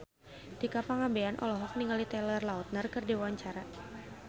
Tika Pangabean olohok ningali Taylor Lautner keur diwawancara